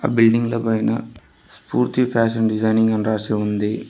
Building ల పైన Spoorthi fashion designing అని రాసి ఉంది.